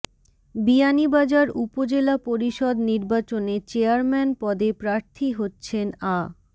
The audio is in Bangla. বিয়ানীবাজার উপজেলা পরিষদ নির্বাচনে চেয়ারম্যান পদে প্রার্থী হচ্ছেন আ